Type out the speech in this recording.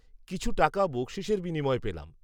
কিছু টাকা বখষিসের বিনিময়ে পেলাম